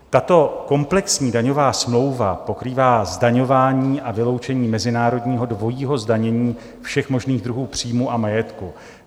Tato komplexní daňová smlouva pokrývá zdaňování a vyloučení mezinárodního dvojího zdanění všech možných druhů příjmů a majetku.